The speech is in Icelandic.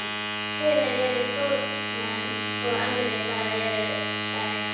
sumir eru stórmenni og aðrir bara eru það ekki.